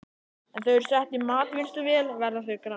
Ef þau eru sett í matvinnsluvél verða þau grá.